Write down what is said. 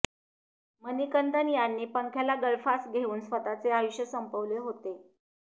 मनिकंदन यांनी पंख्याला गळफास घेऊन स्वतःचे आयुष्य संपवले होते